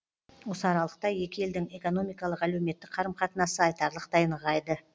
осы аралықта екі елдің экономикалық әлеуметтік қарым қатынасы айтарлықтай нығайды